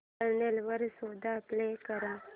channel वर show play कर